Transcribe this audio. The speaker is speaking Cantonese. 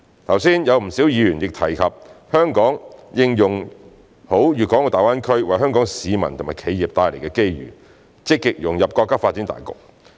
剛才有不少議員亦提及香港應用好粵港澳大灣區為香港市民和企業帶來的機遇，積極融入國家發展大局。